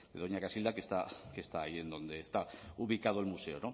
de doña casilda que está ahí en donde está ubicado el museo